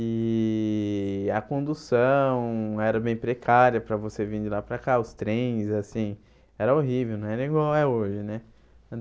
E a condução era bem precária para você vir de lá para cá, os trens, assim, era horrível, né não era igual, é hoje, né?